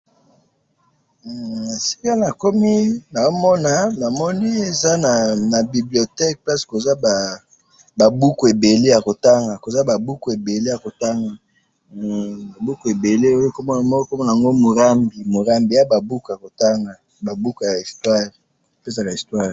Na moni ba buku ebele ya histoire ya kotanga.